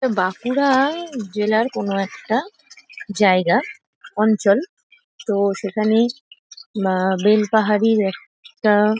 এটা বাঁকুড়া-আ জেলার কোনো একটা জায়গা অঞ্চল তো সেখানে মা বেলপাহাড়ির একটা--